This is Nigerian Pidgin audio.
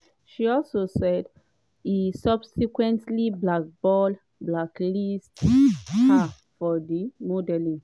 she also say e subsequently "blackball" - blacklist- her for di modelling world.